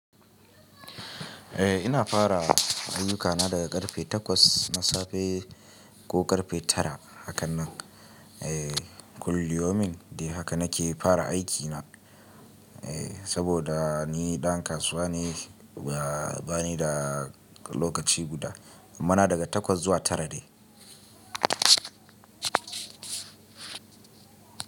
Eh ina fara ayyukana daga karfe takwas na safe ko karfe tara hakan nan. Eh kulliyomin dai haka nake fara aikina. Eh saboda ni ɗan kasuwa ne ba ni da lokaci guda. Amma na daga takwas zuwa tara ne.